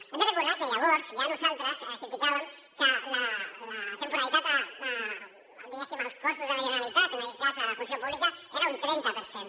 hem de recordar que llavors ja nosaltres criticàvem que la temporalitat diguéssim als cossos de la generalitat en aquest cas a la funció pública era un trenta per cent